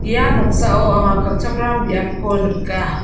ia noksao anga kal·chakram biapko nika.